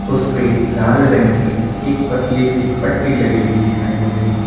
उसपे लाल रंग की एक पतली सी पट्टी लगी हुई दिखाई दे रही है।